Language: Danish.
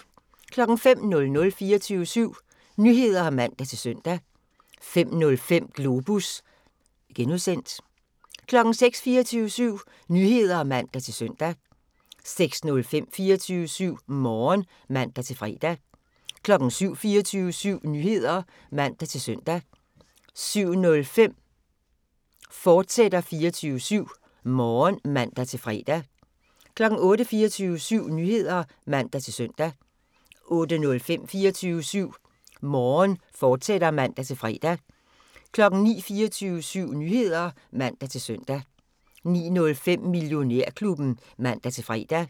05:00: 24syv Nyheder (man-søn) 05:05: Globus (G) 06:00: 24syv Nyheder (man-søn) 06:05: 24syv Morgen (man-fre) 07:00: 24syv Nyheder (man-søn) 07:05: 24syv Morgen, fortsat (man-fre) 08:00: 24syv Nyheder (man-søn) 08:05: 24syv Morgen, fortsat (man-fre) 09:00: 24syv Nyheder (man-søn) 09:05: Millionærklubben (man-fre)